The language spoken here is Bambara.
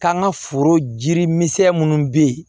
K'an ka foro jiri misɛn munnu be ye